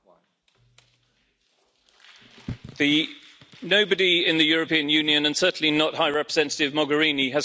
Nobody in the European Union, and certainly not High Representative Mogherini, has questioned the efficacy of NATO or the importance of NATO.